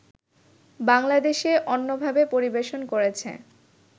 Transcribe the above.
বাংলাদেশে অন্যভাবে পরিবেশন করেছে